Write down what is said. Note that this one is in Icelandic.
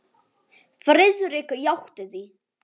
Friðrik játti því.